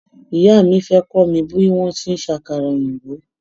Ìyá mi fé kọ́ mi bí wọ́n ti ń ṣe àkàrà òyìnbó.